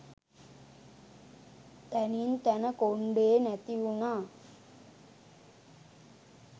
තැනින් තැන කොන්ඩේ නැති උනා.